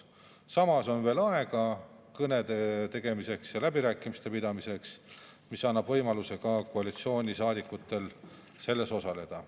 Samas on veel aega kõnede ja läbirääkimiste pidamiseks, ka koalitsioonisaadikutel on võimalus osaleda.